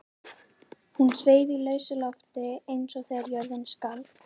Hún sveif í lausu lofti eins og þegar jörðin skalf.